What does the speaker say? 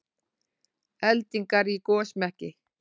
Eldingar í gosmekki